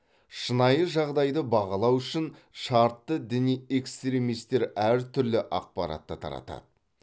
шынайы жағдайды бағалау үшін шартты діни экстремистер әртүрлі ақпаратты таратады